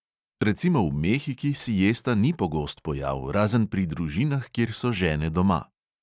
Recimo v mehiki siesta ni pogost pojav razen pri družinah, kjer so žene doma.